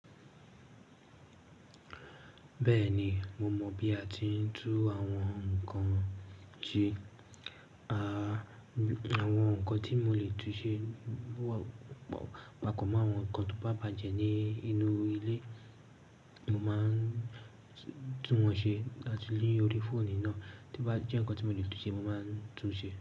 Bẹ́ẹ̀ni, mo mọ̀ bí a ti ń tú àwọn nǹkan ju. Àwọn nǹkan tí mo lè túnṣe, pàpọ̀ mọ́ àwọn nǹkan tó bá bàjẹ́ ní inú ilé, mo máa ń tún wọ́n ṣe láti inú orí fóònù náà. Tí ó bá jẹ́ nǹkan tí mo lè tún ṣe, mo máa ń tún ṣe.